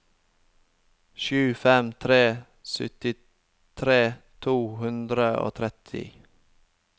sju fem tre tre syttitre to hundre og tretti